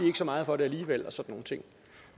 ikke så meget for det alligevel